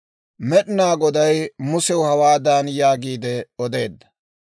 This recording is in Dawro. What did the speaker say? Med'inaa Goday Musew hawaadan yaagiide odeedda;